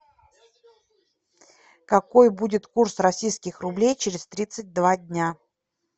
какой будет курс российских рублей через тридцать два дня